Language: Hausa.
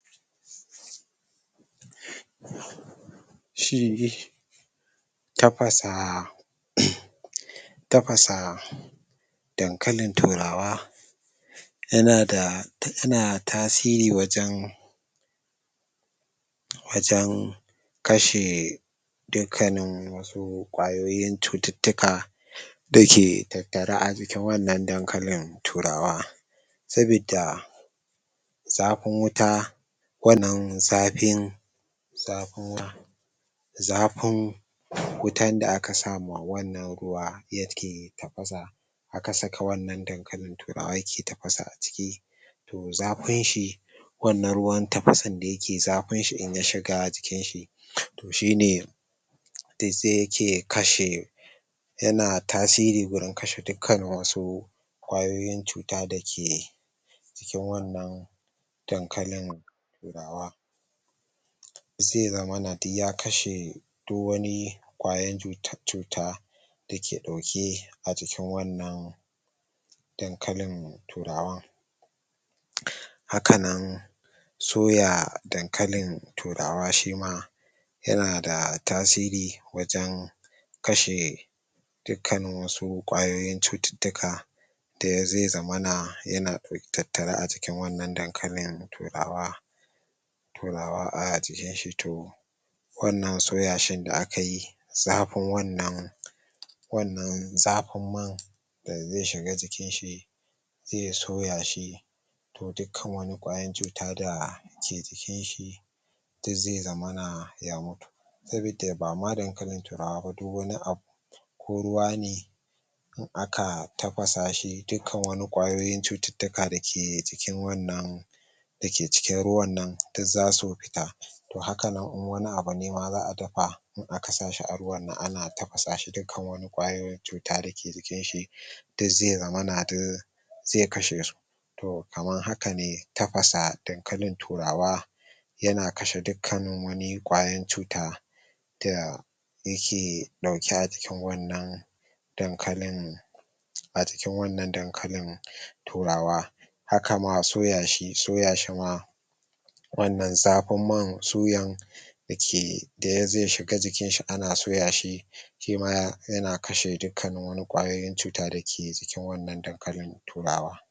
Shi tafasa tafasa dan kalin turawa yanada yana tasiri wajan wajan kashe dukkanin wasu ƙwayoyin cututtuka dake tattare ajikin wannan dankalin turawa sabidda zafin wuta wannan zafin zafin wutan da aka sama wannan ruwa yake tafasa aka saka wannan dan kalin turawa yake tafasa aciki to zafin shi wannan ruwan tafasan da yakeyi zafinshi idan yashiga jikinshi to shine dik se yake kashe yana tasiri wajan kashe dukkan wasu ƙwayoyin cuta dake jikin wannan dankalin ze zamana duk yakashe duk wani ƙwayan cutan cuta dake ɗauke a jikin wannan dankalin turawa hakanan soya dankalin turawa shima yanada tasiri wajan kashe dukkanin wasu ƙwayoyin cututtuka da ze zamana yana tattare acikin wannan dankalin turawa fulawa ajikinshi to wannan soyashin da akayi zafin wannan wannan zafin man da ze shiga jikinshi ze soyashi to dukkani wani ƙwayan cuta da ke jikinshi duk ze zamana ya mutu sabida ba ma dankalin turawaba duk wani abu ko ruwa ne, aka tafasashi duk kannin wani ƙwayoyin cututtuka dake jikin wannan dake cikin ruwannan duk zasu fita to hakanan in wani abune za a dafa in aka sashi a ruwan nan ana tafasashi dukkanin wani ƙwayoyin cuta dake jikin duk ze zaman duk ze kashe su to kaman hakane tafasa dan kalin turawa yana kashe dukkanin wani ƙwayoyin cuta? yake ɗauke ajikin wannan dankalin ajikin wannan dankalin turawa hakama soyashi soyashima wannan zafin man suyan dake ze shiga jikinshi ana soya shima yana kashe dukkani wani ƙwayan cuta dake cikin wannan dankalin turawa